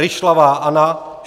Ryšlavá Anna